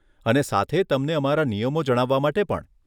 અને સાથે તમને અમારા નિયમો જણાવવા માટે પણ.